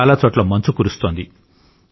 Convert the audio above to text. చాలా చోట్ల మంచు కురుస్తోంది